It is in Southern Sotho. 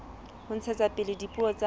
ho ntshetsa pele dipuo tsa